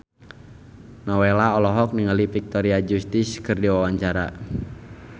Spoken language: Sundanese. Nowela olohok ningali Victoria Justice keur diwawancara